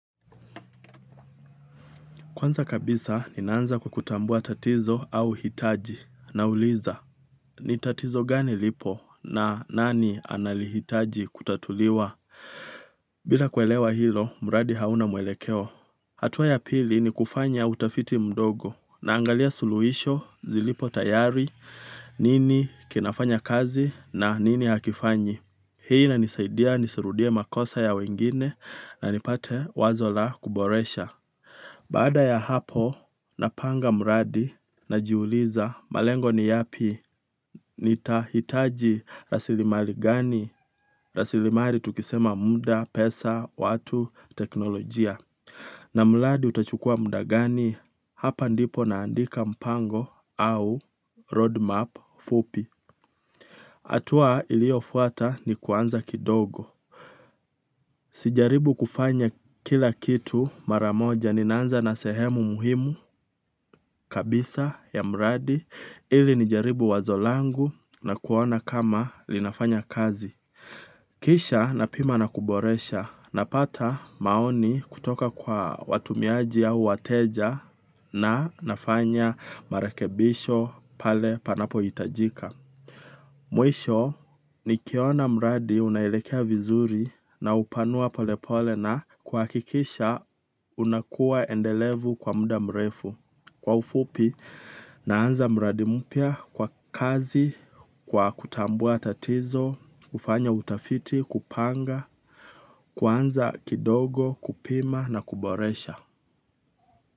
Kwanza kabisa, ninaanza kukutambua tatizo au hitaji nauliza. Ni tatizo gani lipo na nani analihitaji kutatuliwa? Bila kuelewa hilo mradi hauna mwelekeo. Hatuwa ya pili ni kufanya utafiti mdogo naangalia suluhisho zilipo tayari nini kinafanya kazi na nini hakifanyi. Hii inanisidia nisirudie makosa ya wengine na nipate wazo la kuboresha. Baada ya hapo napanga mradi najiuliza malengo ni yapi nitahitaji rasilimali gani rasilimali tukisema muda pesa watu teknolojia. Na mradi utachukua muda gani hapa ndipo naandika mpango au roadmap fupi hatua iliyo fuata ni kuanza kidogo. Sijaribu kufanya kila kitu maramoja ninaanza na sehemu muhimu kabisa ya mradi ili nijaribu wazo langu na kuona kama linafanya kazi. Kisha napima na kuboresha na pata maoni kutoka kwa watumiaji au wateja na nafanya marekebisho pale panapo hitajika. Mwisho nikiona mradi unaelekea vizuri na upanua polepole na kuhakikisha unakuwa endelevu kwa muda mrefu. Kwa ufupi naanza mradi mpya kwa kazi kwa kutambua tatizo kufanya utafiti kupanga kuanza kidogo kupima na kuboresha.